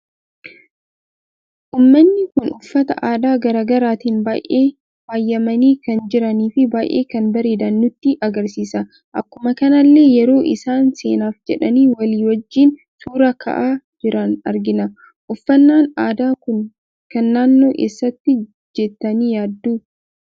Uummanni kun uffata aadaa garaagaraatiin baay'ee faayyamani kan jiranii fi baay'ee kan bareedan nutti agarsiisa. Akkuma kanallee yeroo isaan seenaaf jedhani walii wajjiin suuraa ka'aa jiran argina. uffannan aadaa kun kan naannoo eessati jettani yaaddu?